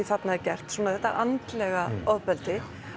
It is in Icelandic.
þarna er gert þetta andlega ofbeldi